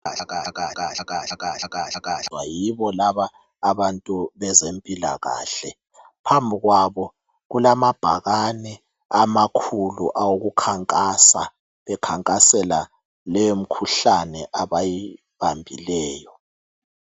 Yibo laba abantu bezempilakahle phambili kwabo kulamabhakani amakhulu awokukhankasa bekhankasela leyo mikhuhlane abayibambileyo.